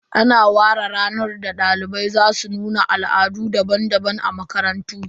Ana ware ranar da dalibai za su nuna Al'adu daban-daban a makarantu